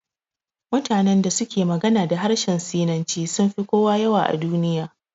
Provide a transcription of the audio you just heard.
Mutanen da suke magana da harshen sinanci sunfi kowa yawa a duniya